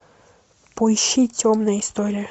поищи темная история